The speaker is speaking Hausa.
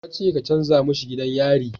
Na ce ka canja mishi gidan yari